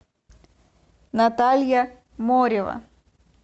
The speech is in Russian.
наталья морева